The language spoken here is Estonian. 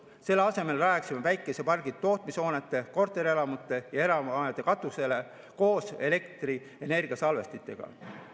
Selle asemel rajaksime päikesepargid tootmishoonete, korterelamute ja erahoonete katusele koos elektrienergiasalvestitega.